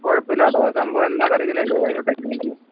കുഴപ്പല്ലട്ടോ അത് സംഭവം എന്താ ന്ന് അറിയത്തില്ല അതിൻറെ technique